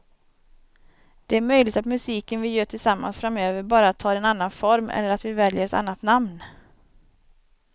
Det är möjligt att musiken vi gör tillsammans framöver bara tar en annan form eller att vi väljer ett annat namn.